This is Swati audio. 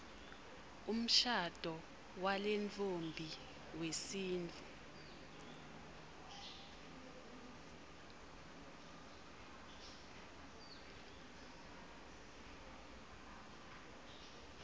umshado walentfombi wesintfu